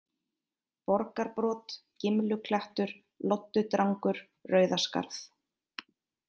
Borgarbrot, Gimluklettur, Loddudrangur, Rauðaskarð